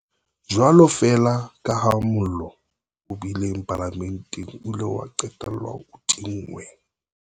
Jwalo feela kaha mollo o bileng Palamenteng o ile wa qetella o tinngwe,